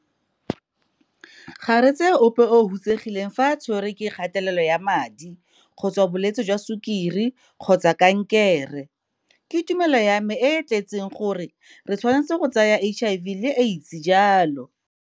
Ga re tsee ope o hutsegile fa a tshwere ke kgatelelo ya madi, kgotsa bolwetse jwa sukiri kgotsa kankere. Ke tumelo ya me e e tletseng gore re tshwanetse go tsaya HIV le Aids jalo.